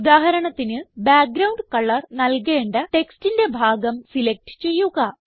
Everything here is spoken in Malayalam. ഉദാഹരണത്തിന് ബാക്ക്ഗ്രൌണ്ട് കളർ നൽകേണ്ട ടെക്സ്റ്റിന്റെ ഭാഗം സിലക്റ്റ് ചെയ്യുക